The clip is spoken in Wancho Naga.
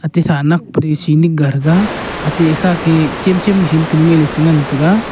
ate kha nek penu chi nik ga thaga ate kha chem chem machine kanu e chi ngan tega.